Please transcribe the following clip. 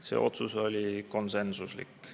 See otsus oli konsensuslik.